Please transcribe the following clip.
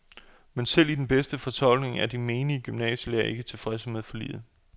Men selv i den bedste fortolkning er de menige gymnasielærere ikke tilfredse med forliget.